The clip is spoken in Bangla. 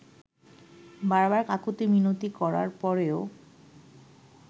বার বার কাকুতি মিনতি করার পরেও